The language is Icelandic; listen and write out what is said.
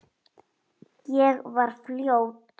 Ég var fljót.